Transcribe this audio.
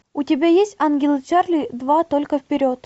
у тебя есть ангелы чарли два только вперед